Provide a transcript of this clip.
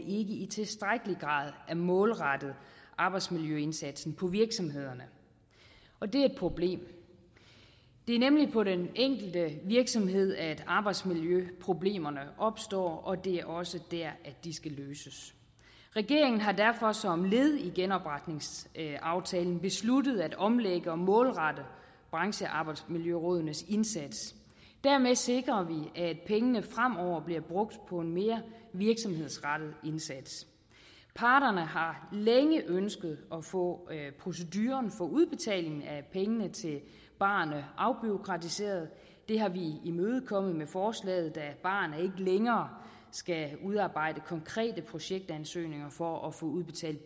i tilstrækkelig grad er målrettet arbejdsmiljøindsatsen på virksomhederne og det er et problem det er nemlig på den enkelte virksomhed at arbejdsmiljøproblemerne opstår og det er også der de skal løses regeringen har derfor som led i genopretningsaftalen besluttet at omlægge og målrette branchearbejdsmiljørådenes indsats dermed sikrer vi at pengene fremover bliver brugt på en mere virksomhedsrettet indsats parterne har længe ønsket at få proceduren for udbetaling af penge til barerne afbureaukratiseret det har vi imødekommet med forslaget da barerne længere skal udarbejde konkrete projektansøgninger for at få udbetalt